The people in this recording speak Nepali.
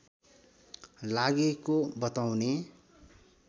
लागेको बताउने